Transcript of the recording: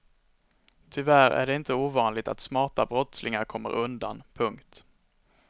Tyvärr är det inte ovanligt att smarta brottslingar kommer undan. punkt